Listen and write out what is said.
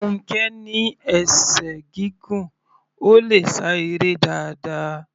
Funkẹ ní esè gígùn, Ó le sá eré dáadáa.